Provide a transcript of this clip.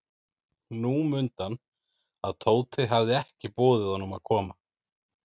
Nú mundi hann, að Tóti hafði ekki boðið honum að koma.